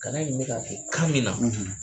Kalan in bɛ k'a kɛ kan min na,